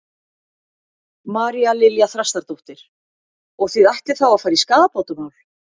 María Lilja Þrastardóttir: Og þið ætlið þá að fara í skaðabótamál?